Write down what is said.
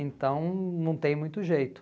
Então, não tem muito jeito.